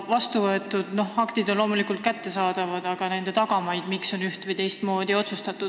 Vastuvõetud aktid on loomulikult kättesaadavad, aga tahaks teada ka nende tagamaid, miks on ühte- või teistmoodi otsustatud.